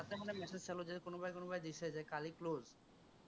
মানে message চালো যে, কোনোবাই কোনোবাই দিছে যে কালি close